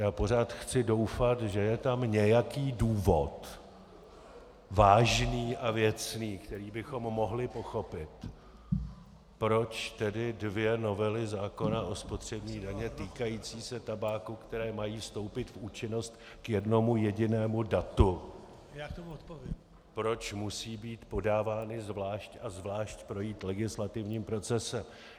Já pořád chci doufat, že je tam nějaký důvod, vážný a věcný, který bychom mohli pochopit, proč tedy dvě novely zákona o spotřební dani týkající se tabáku, které mají vstoupit v účinnost k jednomu jedinému datu, proč musí být podávány zvlášť a zvlášť projít legislativním procesem.